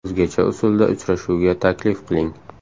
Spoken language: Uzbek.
O‘zgacha usulda uchrashuvga taklif qiling.